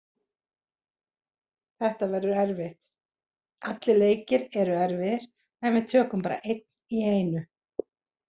Þetta verður erfitt, allir leikir eru erfiðir en við tökum bara einn í einu.